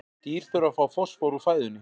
Dýr þurfa að fá fosfór úr fæðunni.